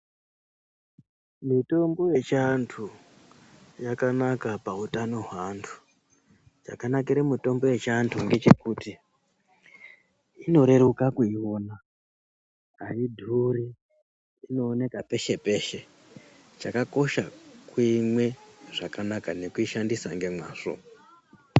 Mitombo yechianthu yakanaka pautanho hwaantu. Chakanakire mitombo yechiantu ngechekuti, inoreruka kuiona, ayidhuri, inooneka peshe-peshe. Chakakosha kuimwe zvakanaka nekushandisa ngemwazvo.